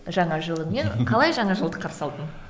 жаңа жылыңмен қалай жаңа жылды қарсы алдың